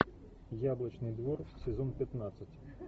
яблочный двор сезон пятнадцать